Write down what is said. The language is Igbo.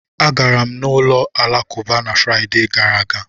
Agara m ụlọ alakụba na Fraịde gara aga.